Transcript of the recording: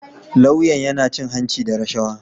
Lauyan ya cin hanci da rashawa